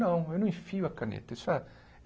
Não, eu não enfio a caneta. Isso é